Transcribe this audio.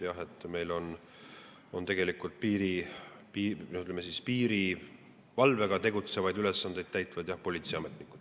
Jah, meil tegelikult piirivalvega ülesandeid täidavad politseiametnikud.